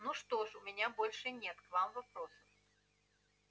ну что ж у меня больше нет к вам вопросов